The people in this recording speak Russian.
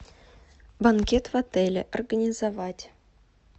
банкет в отеле организовать